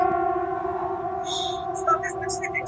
Getið þið komið með dæmi?